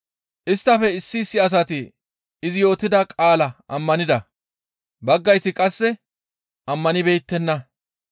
Isttafe issi issi asati izi yootida qaalaa ammanida; baggayti qasse ammanibeettenna.